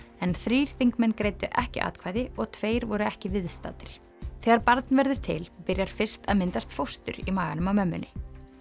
en þrír þingmenn greiddu ekki atkvæði og tveir voru ekki viðstaddir þegar barn verður til byrjar fyrst að myndast fóstur í maganum á mömmunni